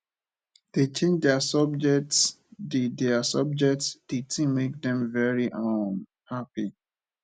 dey change their subjects the their subjects the thing make dem very um happy